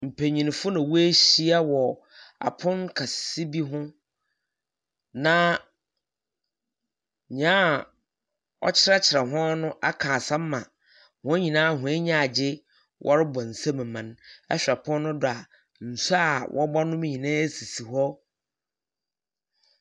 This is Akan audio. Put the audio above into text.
Mpenyimfo na weahyia wɔ apon kɛse bi hɔ. Na nyea ɔkyerɛkyerɛ hɔn no aka asɛm ama hɔn nyinaa hɔn enyi agye. Wɔrebɔ nsam ma no. ℇhwɛ pon no do a, nsu a wɔbɔnom nyinaa sisi hɔ.